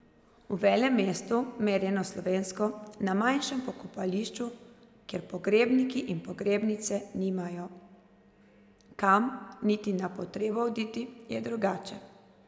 V velemestu, merjeno slovensko, na manjšem pokopališču, kjer pogrebniki in pogrebnice nimajo kam niti na potrebo oditi, je drugače.